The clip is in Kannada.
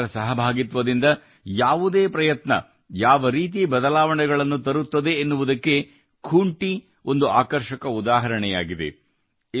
ಸಾರ್ವಜನಿಕರ ಸಹಭಾಗಿತ್ವದಿಂದ ಯಾವುದೇ ಪ್ರಯತ್ನ ಯಾವರೀತಿ ಬದಲಾವಣೆಗಳನ್ನು ತರುತ್ತದೆ ಎನ್ನುವುದಕ್ಕೆ ಖೂಂಟಿ ಒಂದು ಆಕರ್ಷಕ ಉದಾಹರಣೆಯಾಗಿದೆ